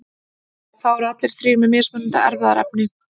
þá eru allir þrír með mismunandi erfðaefni